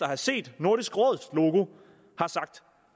have set nordisk råds logo